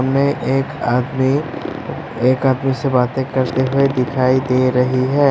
इनमें एक आदमी एक आदमी से बातें करते हुए दिखाई दे रही है।